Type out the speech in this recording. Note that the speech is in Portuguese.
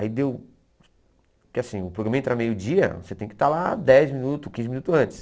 Aí deu... Porque assim, o programa entra meio dia, você tem que estar lá dez minutos, quinze minutos antes.